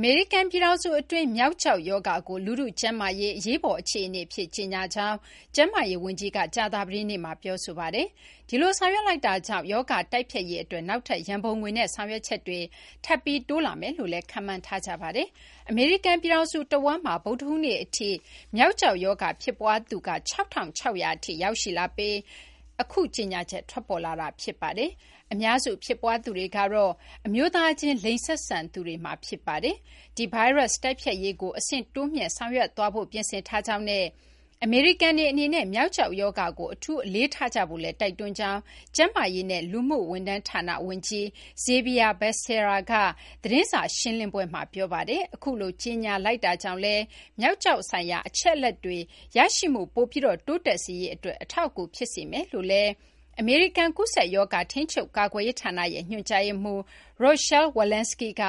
အမေရိကန် ပြည်ထောင်စု အတွင်း မျောက် ကျောက် ရောဂါကို လူထု ကျန်းမာရေး အရေးပေါ် အခြေအနေ အဖြစ် ကြေညာကြောင်း ကျန်းမာရေး ဝန်ကြီးက ကြာသပတေးနေ့မှာ ပြောဆိုပါတယ်။ ဒီလို ဆောင်ရွက်လိုက်တာကြောင့် ရောဂါ တိုက်ဖျက်ရေး အတွက် နောက်ထပ် ရန်ပုံငွေနဲ့ ဆောင်ရွက်ချက်တွေ ထပ်ပြီး တိုးလာမယ်လို့လည်း ခန့်မှန်းထားကြပါတယ်။ အမေရိကန် ပြည်ထောင်စု တဝန်းမှာ ဗုဒ္ဓဟူးနေ့ အထိ မျောက်ကျောက် ရောဂါ ဖြစ်ပွားသူ ၆,၆၀၀ ထိ ရောက်ရှိလာပြီး နောက် အခု ကြေညာချက် ထွက်ပေါ်လာတာပါ။ အများစု ဖြစ်ပွားသူတွေကတော့ အမျိုးသားချင်း လိင်ဆက်ဆံသူတွေမှာ ဖြစ်ပါတယ်။ ဒီ ဗိုင်းရပ် တိုက်ဖျက်ရေးကို အဆင့်တိုးမြှင့် ဆောင်ရွက်သွားဖို့ ပြင်ဆင်ထားကြောင်းနဲ့ အမေရိကန်တွေ အနေနဲ့ မျောက်ကျောက် ရောဂါကို အထူးအလေးထားကြဖို့လည်း တိုက်တွန်းကြောင်း ကျန်းမာရေးနဲ့ လူမှု ဝန်ထမ်း ဌာန ဝန်ကြီး Xavier Becerra က သတင်းစာ ရှင်းလင်းပွဲမှာ ပြောပါတယ်။ အခုလို ကြေညာလိုက်တာကြောင့်လည်း မျောက်ကျောက် ဆိုင်ရာ အချက်အလက်တွေ ရရှိမှု ပိုပြီး တိုးတက်စေရေး အတွက် အထောက်အကူ ဖြစ်စေမယ်လို့လည်း အမေရိကန် ကူးစက်ရောဂါ ထိန်းချုပ် ကာကွယ်ရေး ဌာန ညွှန်ကြားရေးမှူး Rochelle Walensky က